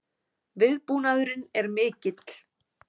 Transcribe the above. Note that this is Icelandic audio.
Viðbúnaðurinn er mikill